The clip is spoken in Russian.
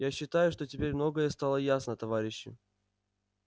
я считаю что теперь многое стало ясно товарищи